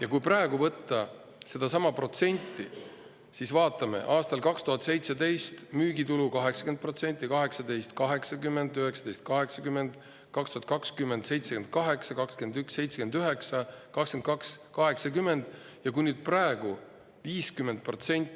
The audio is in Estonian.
Aga kui praegu võtta seesama protsent, siis on nii, vaatame, et aastal 2017 oli müügitulu 80%, 2018 – 80%, 2019 – 80%, 2020 – 78%, 2021 – 79%, 2022 – 80%.